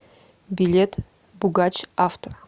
билет бугач авто